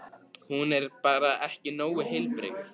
Hún er bara ekki nógu heilbrigð.